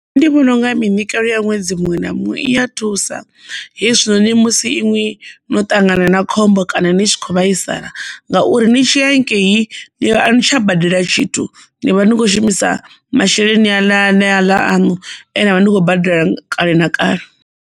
Nṋe ndi vhona unga minyikelo ya ṅwedzi muṅwe na muṅwe iya thusa hezwinoni musi iṅwi no ṱangana na khombo kana ni tshi kho vhaisala ngauri ni tshi ya haningei ni a ni tsha badela tshithu ni vha ni kho shumisa masheleni a ne a ṋea ḽa aṋu ane avha ndi khou badela kale na kale.